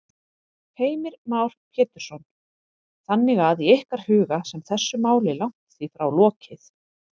Heimir Már Pétursson: Þannig að í ykkar huga sem þessu máli langt því frá lokið?